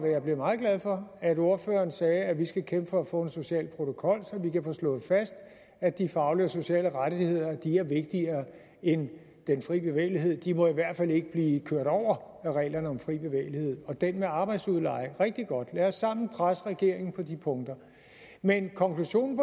jeg blev meget glad for at ordføreren sagde at vi skal kæmpe for at få en social protokol så vi kan få slået fast at de faglige og sociale rettigheder er vigtigere end den fri bevægelighed de må i hvert fald ikke blive kørt over af reglerne om fri bevægelighed og det med arbejdsudleje er rigtig godt lad os sammen presse regeringen på de punkter men konklusionen